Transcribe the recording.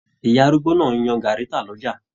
Ìyá arúgbó náà n yan gàárí tá l'ọja.